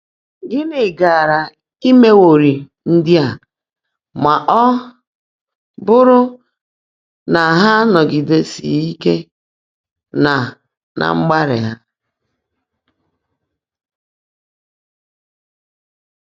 Gị́ní gáárá èméwọ́rị́ ndị́ á má ọ́ bụ́rụ́ ná há ánọ́gídèsị́ghị́ íke ná ná mgbaálị́ há?